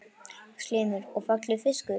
Magnús Hlynur: Og fallegur fiskur?